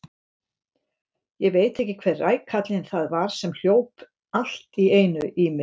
Ég veit ekki hver rækallinn það var sem hljóp allt í einu í mig.